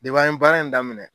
Depi an ye baara in daminɛ